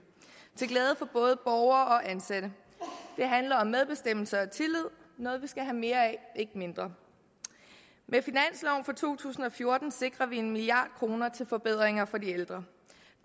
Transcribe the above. til glæde for både borgere og ansatte det handler om medbestemmelse og tillid noget vi skal have mere af ikke mindre med finansloven for to tusind og fjorten sikrer vi en milliard kroner til forbedringer for de ældre